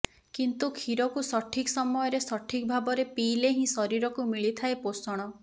କିନ୍ତୁ କ୍ଷୀରକୁ ସଠିକ୍ ସମୟରେ ସଠିକ୍ ଭାବରେ ପିଇଲେ ହିଁ ଶରୀରକୁ ମିଳିଥାଏ ପୋଷଣ